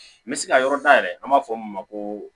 N bɛ se ka yɔrɔ dayɛlɛ an b'a fɔ min ma ko